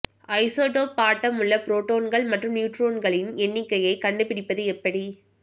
isotope atom உள்ள புரோட்டான்கள் மற்றும் நியூட்ரொன்களின் எண்ணிக்கையைக் கண்டுபிடிப்பது எப்படி